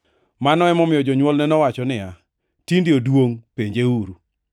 Mano emomiyo jonywolne nowacho niya, “Tinde oduongʼ, penjeuru.”